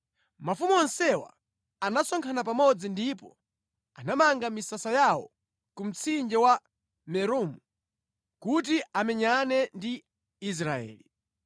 Mafumu onsewa anasonkhana pamodzi ndipo anamanga misasa yawo ku mtsinje wa Meromu, kuti amenyane ndi Israeli.